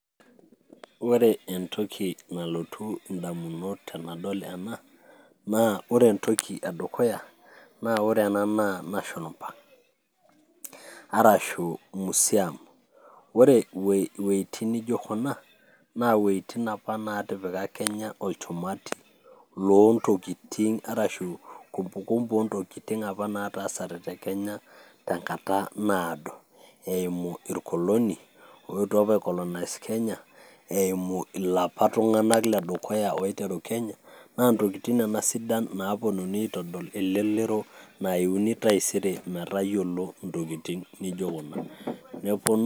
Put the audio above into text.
Ore entoki nalotu indamunot tenadol ena naa ore entoki edukuya naa ore ena naa national park arashu museum. Ore iwuejitin nijo kuna naa iwuejitin apa natipika Kenya olchumati lontokitin arashu kumbukumbu ontokitin apa nataasate te Kenya tenkata naado eimu irkoloni oetuo ap ae colonize Kenya eimu ilapa tung'anak ledukuya oiteru Kenya naa ntokitin nena sidan naapuonunui aitodol elelero naiuni taisere metayiolo intokitin nijo kuna neponu.